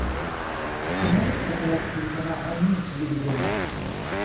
ты можешь показать телеканал они на телевизоре